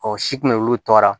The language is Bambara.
Ɔ si kun bɛ olu tɔɔrɔ